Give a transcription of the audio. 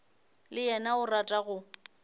le yena o rata go